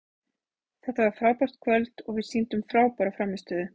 Þetta var frábært kvöld og við sýndum frábæra frammistöðu.